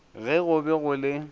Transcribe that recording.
ge go be go le